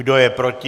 Kdo je proti?